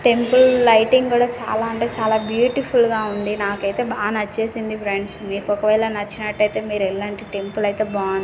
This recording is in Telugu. టెంట్ ఉ లైటింగ్ కూడా చాలా అంటే చాలా బ్యూటిఫుల్ గా ఉంది నాకైతే బాగా నచ్చేసింది ఫ్రెండ్స్ మీకు ఒకవేళ నచ్చినట్టయితే మీరేల్లండీ టెంపుల్ అయితే --బాగున్